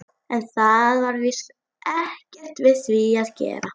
Heyrðu, er þetta veður ekki ótrúlegt?